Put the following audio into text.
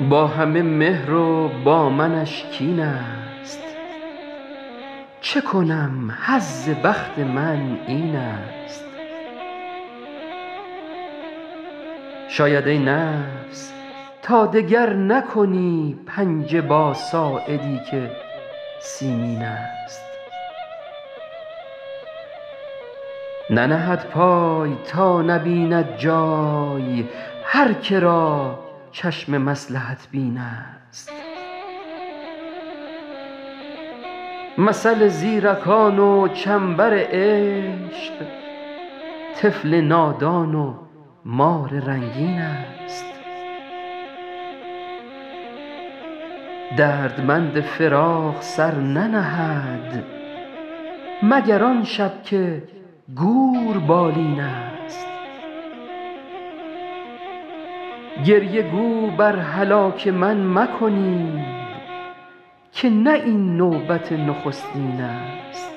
با همه مهر و با منش کین ست چه کنم حظ بخت من این ست شاید ای نفس تا دگر نکنی پنجه با ساعدی که سیمین ست ننهد پای تا نبیند جای هر که را چشم مصلحت بین ست مثل زیرکان و چنبر عشق طفل نادان و مار رنگین ست دردمند فراق سر ننهد مگر آن شب که گور بالین ست گریه گو بر هلاک من مکنید که نه این نوبت نخستین ست